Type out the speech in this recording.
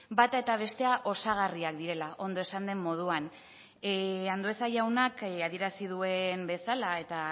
bata eta bestea osagarriak direla ondo esan den moduan andueza jaunak adierazi duen bezala eta